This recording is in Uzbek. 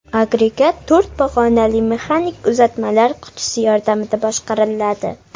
Agregat to‘rt pog‘onali mexanik uzatmalar qutisi yordamida boshqariladi.